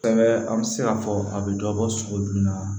Fɛn bɛ an bɛ se k'a fɔ a bɛ dɔ bɔ sogo jumɛn na wa